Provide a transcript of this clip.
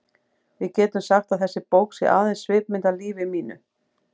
Við getum sagt að þessi bók sé aðeins svipmynd af lífi mínu.